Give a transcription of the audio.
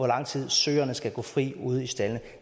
lang tid søerne skal gå frit ude i staldene